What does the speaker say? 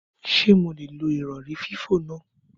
Ṣé mo lè lo ìrọ̀rí fífò náà?